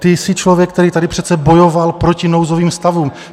Ty jsi člověk, který tady přece bojoval proti nouzovým stavům.